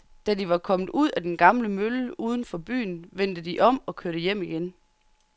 Da de var kommet ud til den gamle mølle uden for byen, vendte de om og kørte hjem igen.